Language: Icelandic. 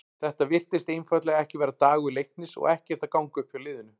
Þetta virtist einfaldlega ekki vera dagur Leiknis og ekkert að ganga upp hjá liðinu.